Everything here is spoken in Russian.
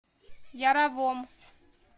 яровом